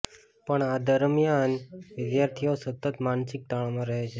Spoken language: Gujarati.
પણ આ દરમિયાન વિદ્યાર્થીઓ સતત માનસિક તાણમાં રહે છે